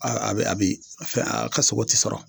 A a bɛ a bi fɛ a ka sogo ti sɔrɔ.